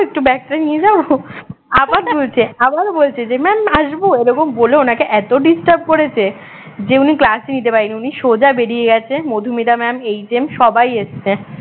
একটু bag টা নিয়ে যাব আবার বলছে আবারও বলছে যে mam আসব এরকম বলে ওনাকে এত disturb করেছে যে উনি class ই নিতে পারেনি উনি সোজা বেরিয়ে গেছে মধুমিতা mam HM সবাই এসেছে